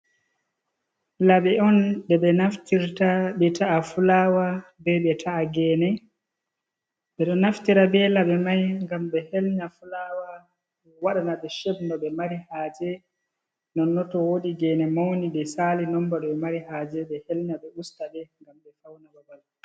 Laɓe on ɗe ɓe naftirta ɓe ta’ata fulawa be ta'a gene. Ɓeɗo naftira be laɓe mai ngam be helnya fulawa, waɗana ɗe sheb no ɓe mari haje. Nonnon to wodi gene mauni je sali nombar ɓe mari haje ɓe helnya ɓe usta be mai ngam ɓe fauna babal.